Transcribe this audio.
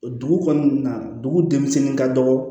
Dugu kɔnɔna na dugu denmisɛnnin ka dɔgɔ